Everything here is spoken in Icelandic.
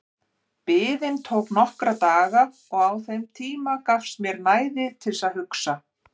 Biðin tók nokkra daga og á þeim tíma gafst mér næði til að hugsa.